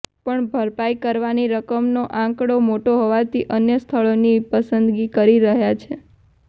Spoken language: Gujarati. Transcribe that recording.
પણ ભરપાઇ કરવાની રકમનો આંકડો મોટો હોવાથી અન્ય સ્થળોની પસંદગી કરી રહયા છે